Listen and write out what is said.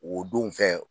O don fɛ